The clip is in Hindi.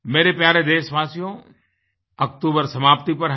मेरे प्यारे देशवासियोअक्तूबर समाप्ति पर है